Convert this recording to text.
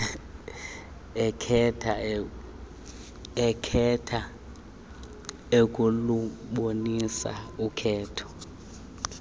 ekhetha ukulubonisa ukhetho